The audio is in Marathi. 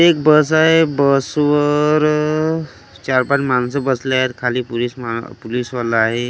एक बस आहे बसवर अ चार पाच माणसं बसली आहेत खाली पुलीस मा पुलीसवाला आहे त्या--